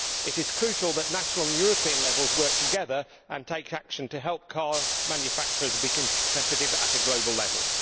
It is crucial that national and European levels work together and take action to help car manufacturers be competitive at a global level.